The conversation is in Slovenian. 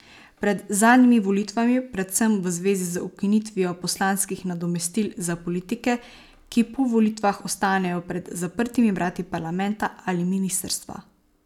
Pred zadnjimi volitvami predvsem v zvezi z ukinitvijo poslanskih nadomestil za politike, ki po volitvah ostanejo pred zaprtimi vrati parlamenta ali ministrstva.